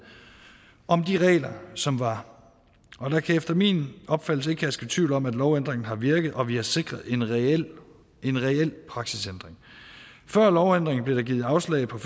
om de regler som var og der kan efter min opfattelse ikke herske tvivl om at lovændringen har virket og at vi har sikret en reel praksisændring før lovændringen blev der givet afslag på